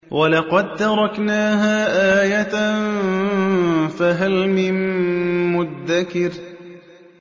وَلَقَد تَّرَكْنَاهَا آيَةً فَهَلْ مِن مُّدَّكِرٍ